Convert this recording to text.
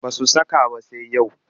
Ba su saka ba sai yau